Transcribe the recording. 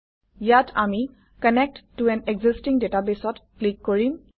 ইয়াত আমি কানেক্ট ত আন এক্সিষ্টিং database অত ক্লিক কৰিম